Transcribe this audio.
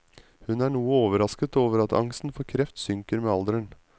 Hun er noe overrasket over at angsten for kreft synker med alderen.